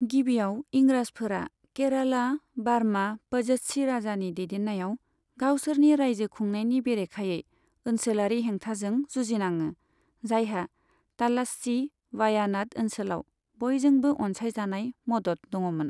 गिबिआव, इंराजफोरा केराला बार्मा पझस्सी राजानि दैदेनायाव गावसोरनि रायजो खुंनायनि बेरेखायै ओनसोलारि हेंथाजों जुजिनाङो, जायहा थालास्सी वायानाड ओनसोलाव बयजोंबो अनसायजानाय मदद दङमोन।